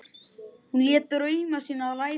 Hún lét drauma sína rætast.